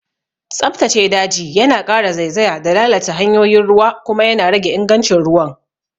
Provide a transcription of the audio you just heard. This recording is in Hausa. Tsabtace daji yana ƙara zaizaya da lalata hanyoyin ruwa kuma yana rage ingancin ruwan.